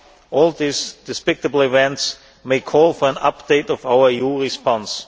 All these despicable events may call for an update of our EU response.